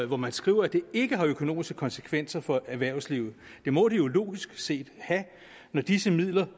hvor man skriver at det ikke har økonomiske konsekvenser for erhvervslivet det må det jo logisk set have når disse midler